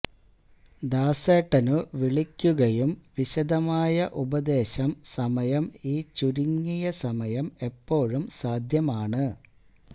ദാസേട്ടനു വിളിക്കുകയും വിശദമായ ഉപദേശം സമയം ഈ ചുരുങ്ങിയ സമയം എപ്പോഴും സാധ്യമാണ്